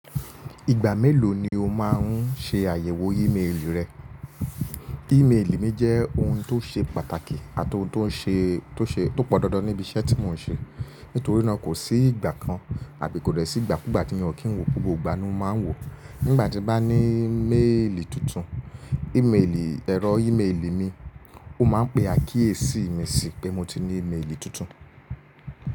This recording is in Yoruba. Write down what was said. Ìgbà mélòó ni o máà ń ṣe àyẹ̀wò ímeèlì rẹ? Ímeèlì mi jẹ́ ohun tó ṣe pàtàkì àti ohun tó pọn dandan níbi iṣẹ́ tí mò ń ṣe. Nítorí náà kò sí ìgbà kan àbí kò dẹ̀ sí ìgbàkúgbà tí ò kí ń wò, kò gbogbo ìgbà ni mo máa ń wò. Nígbà tí bá ní méèlì tuntun, ẹ̀rọ ímeèlì mi, ó máa ń pe akíyèsí mi sí pé mo ti ní ímeèlì tuntun.